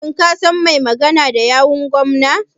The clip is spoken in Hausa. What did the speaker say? Shin ka san mai magana da yawun gwamnan.